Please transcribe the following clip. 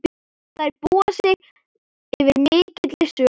Þær búa yfir mikilli sögu.